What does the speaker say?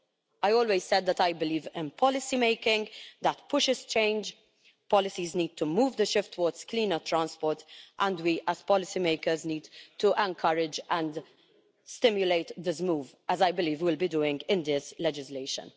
I have always said that I believe in policymaking that pushes change. Policies need to move the shift towards cleaner transport and we, as policymakers, need to encourage and stimulate this move, as I believe we'll be doing in this legislation.